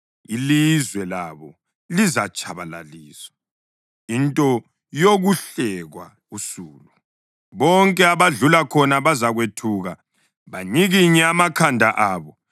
Ilizwe labo lizatshabalaliswa, into yokuhlekwa usulu; bonke abadlula khona bazakwethuka banyikinye amakhanda abo.